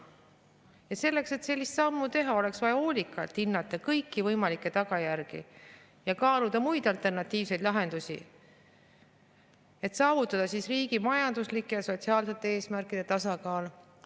sellise sammu tegemist oleks vaja hoolikalt hinnata kõiki võimalikke tagajärgi ja kaaluda muid alternatiivseid lahendusi, et saavutada riigi majanduslike ja sotsiaalsete eesmärkide tasakaal.